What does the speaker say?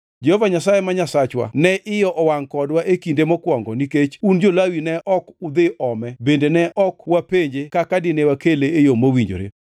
Jehova Nyasaye ma Nyasachwa ne iye owangʼ kodwa e kinde mokwongo nikech un jo-Lawi ne ok udhi ome bende ne ok wapenje kaka dine wakele e yo mowinjore.”